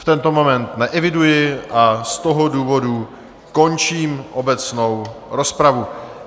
V tento moment neeviduji a z toho důvodu končím obecnou rozpravu.